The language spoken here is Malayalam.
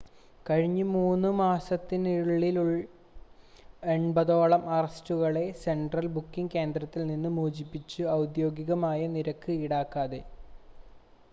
കഴിഞ്ഞ 3 മാസത്തിനുള്ളിൽ 80 ഓളം അറസ്റ്റുകളെ സെൻട്രൽ ബുക്കിംഗ് കേന്ദ്രത്തിൽ നിന്ന് മോചിപ്പിച്ചു ഔദ്യോഗികമായി നിരക്ക് ഈടാക്കാതെ